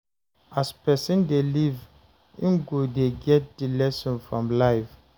As person dey live im go dey get the lessons from life